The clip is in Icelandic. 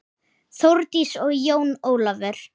Þórdís og Jón Ólafur.